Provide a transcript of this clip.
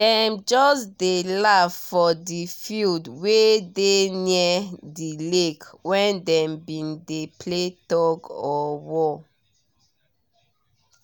dem just dey laugh for di field wey dey near di lake when dem been dey play tug or war